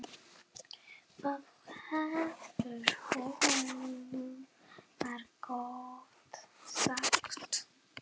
Það hefur þú margoft sagt.